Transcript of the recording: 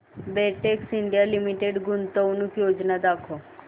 Betex India limited गुंतवणूक योजना दाखव